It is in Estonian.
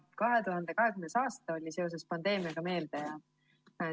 2020. aasta oli seoses pandeemiaga meeldejääv.